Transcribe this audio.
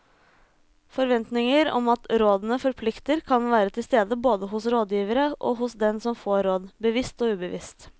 Forventninger om at rådene forplikter kan være til stede både hos rådgiverne og hos den som får råd, bevisst og ubevisst.